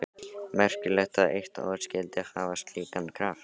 Merkilegt að eitt orð skyldi hafa slíkan kraft.